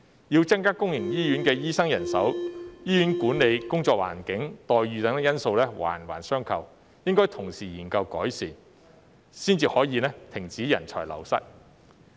要增加公營醫院的醫生人手，醫院管理、工作環境、待遇等因素環環相扣，應該同時研究改善，才可以停止人才流失。